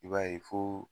I b'a ye fo